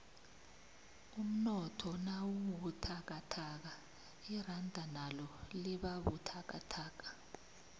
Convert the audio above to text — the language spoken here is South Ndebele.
umnotho nawubuthakathaka iranda nalo libabuthakathaka